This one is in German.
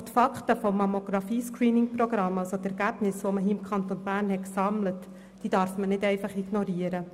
Doch die Fakten des Mammographie-Screening-Programms bzw. die Ergebnisse, die im Kanton Bern gesammelt wurden, darf man nicht einfach ignorieren.